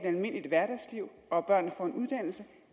almindeligt hverdagsliv og at børnene får en uddannelse